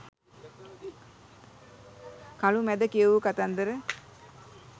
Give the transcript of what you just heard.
කළුමැද කියවූ කතන්දර